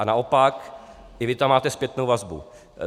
A naopak, i vy tam máte zpětnou vazbu.